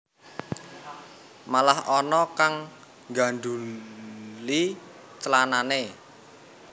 Malah ana kang nggandhuli clanane